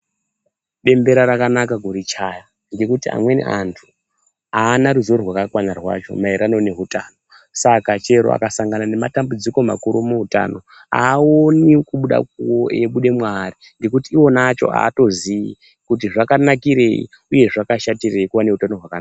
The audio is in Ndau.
Bembera rakanaka kurichaya ngekuti amweni antu aana ruzivo rwakakwana rwacho maererano neutano saka chero akasangana nematambudziko makuru muutano aaoni eibuda mwaari ngekuti iwona acho aatozii kuti zvakanakirei uye zvashatirei kuva neutano hwakanaka.